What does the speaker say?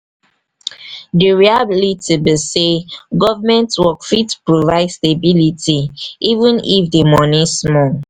di reality be sey government work fit provide stability even if di money small.